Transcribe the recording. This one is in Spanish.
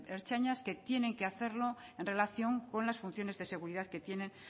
ertzainas que tienen que hacerlo en relación con las funciones de seguridad que tienen